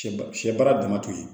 Sɛba sɛ baara dama to yen